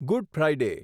good Friday